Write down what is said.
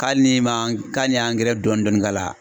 Hali ni ma k'an ye dɔɔnin dɔɔnin k'a la